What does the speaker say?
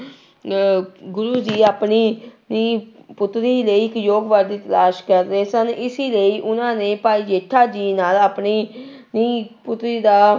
ਅਹ ਗੁਰੂ ਜੀ ਆਪਣੀ ਣੀ ਪੁੱਤਰੀ ਲਈ ਇੱਕ ਯੋਗ ਵਰ ਦੀ ਤਲਾਸ਼ ਕਰ ਰਹੇ ਸਨ, ਇਸੀ ਲਈ ਉਹਨਾਂ ਨੇ ਭਾਈ ਜੇਠਾ ਜੀ ਨਾਲ ਆਪਣੀ ਣੀ ਪੁੱਤਰੀ ਦਾ